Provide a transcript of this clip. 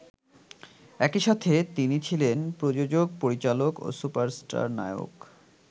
একইসাথে তিনি ছিলেন প্রযোজক, পরিচালক ও সুপারস্টার নায়ক।